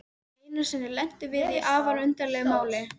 Einu sinni lentum við í afar undarlegu máli.